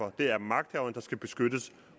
at det er magthaverne der skal beskyttes